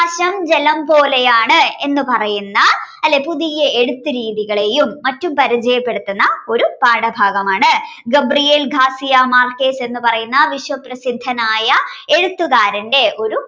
പ്രകാശം ജലം പോലെയാണ് എന്ന് പറയുന്ന അല്ലേ പുതിയ എഴുത്തു രീതികളെയും മറ്റും പരിചയപ്പെടുത്തുന്നത് ഒരു പാഠഭാഗമാണ് Gabriel García Márquez എന്ന് പറയുന്ന വിശ്വപ്രസിദ്ധനായ എഴുത്തുകാരന്റെ ഒരു